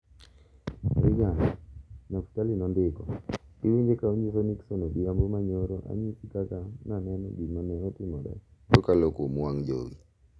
Reagan, Naftali nondiko, iwinje ka onyiso Nixon odhiambo ma nyoro anyisi kaka naneno gima ne otimore kokalo kuom wang' jowi .